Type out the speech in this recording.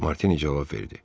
Martini cavab verdi.